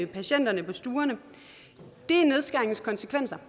patienterne på stuerne det er nedskæringens konsekvenser